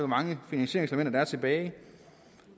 mange finansieringselementer der er tilbage